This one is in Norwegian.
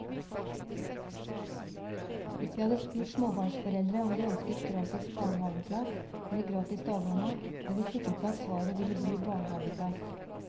Hvis vi hadde spurt småbarnsforeldre om de ønsker gratis barnehaveplass eller gratis dagmamma, er vi sikre på at svaret ville bli barnehaveplass.